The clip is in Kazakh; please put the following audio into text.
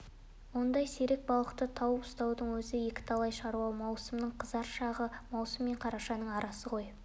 ондай сирек балықты тауып ұстаудың өзі екіталай шаруа маусымның қызар шағы маусым мен қарашаның арасы ғой